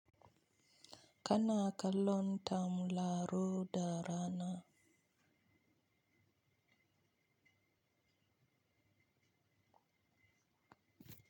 Kana kallon tamraro da rana.